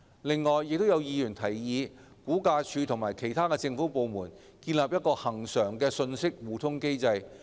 此外，亦有議員提議估價署與其他政府部門建立一個恆常的信息互通機制。